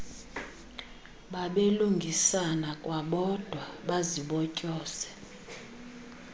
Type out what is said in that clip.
babelungisana kwabodwa bazibotyoze